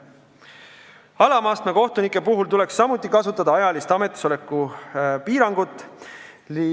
Alama astme kohtunike puhul tuleks samuti kasutada ametisoleku aja piirangut.